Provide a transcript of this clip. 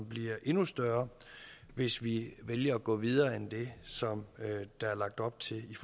bliver endnu større hvis vi vælger at gå videre end det som der er lagt op til i